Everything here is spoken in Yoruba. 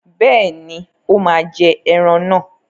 Bẹ́ẹ̀ni, ó máa jẹ́ ẹran náà.